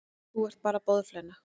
Þú ert bara boðflenna.